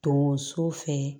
Donso fɛ